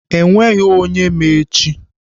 Enweghị onye ma echi.